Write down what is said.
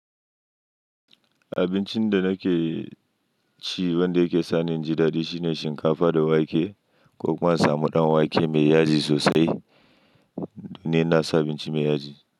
Abincin da nake ci wanda yake sani in jidadi shine shinkafa da wake ko kuma in samu ɗan wake mai yaji sosai. Ni ina sau abinci mai yaji.